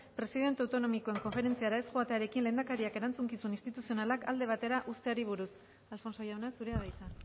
presidente autonomikoen konferentziara ez joatearekin lehendakariak erantzukizun instituzionalak alde batera uzteari buruz alfonso jauna zurea da hitza